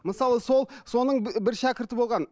мысалы сол соның бір шәкірті болған